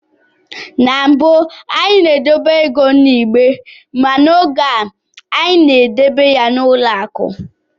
Na mbụ, anyị na-edobe ego n'igbe ma n'oge a anyị na-edebe ya n'ụlọ akụ